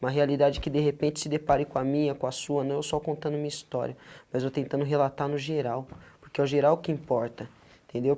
Uma realidade que de repente se depare com a minha, com a sua, não é eu só contando minha história, mas eu tentando relatar no geral, porque é o geral que importa, entendeu?